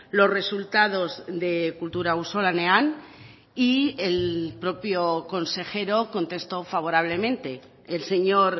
los resultados de kultura auzolanean y el propio consejero contestó favorablemente el señor